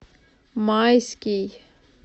майский